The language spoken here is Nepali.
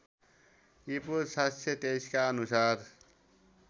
ईपू ७२३का अनुसार